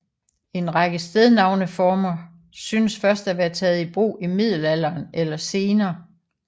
En række stednavneformer synes først at være taget i brug i middelalderen eller senere